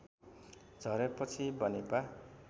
झरेपछि Banepa